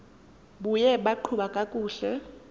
buye baqhuba kakuhle